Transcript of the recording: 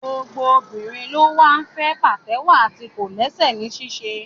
Gbogbo obìnrin ló wá fẹ́ pàtẹ́wọ́ àti kòlẹ́sẹ̀ ní ṣíṣe